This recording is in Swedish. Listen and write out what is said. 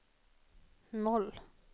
noll